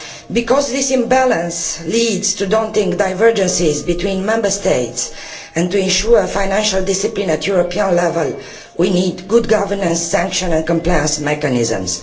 Because this imbalance leads to daunting divergences between Member States, and to ensure financial discipline at European level, we need good governance, sanctions and compliance mechanisms.